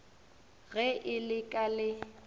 ge e le ka le